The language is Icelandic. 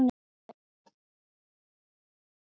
Henni fannst allt í einu að hún væri að bregðast henni.